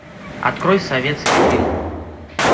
открой советский фильм